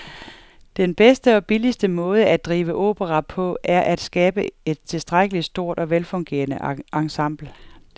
Den bedste og billigste måde at drive opera på er at skabe et tilstrækkeligt stort og velfungerende ensemble.